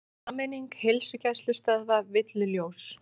Sameining heilsugæslustöðva villuljós